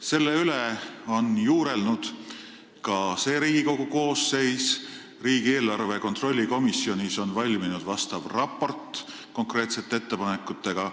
Selle üle on juurelnud ka see Riigikogu koosseis, riigieelarve kontrolli komisjonis on valminud raport konkreetsete ettepanekutega.